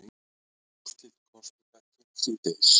Úrslit kosninga kynnt síðdegis